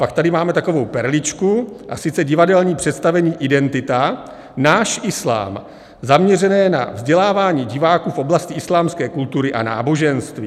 Pak tady máme takovou perličku, a sice divadelní představení Identita: Náš islám, zaměřené na vzdělávání diváků v oblasti islámské kultury a náboženství.